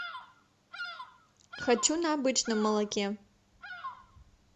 хочу на обычном молоке